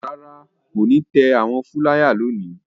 Rárá, kò ní tẹ àwọn fúláyà lónìí.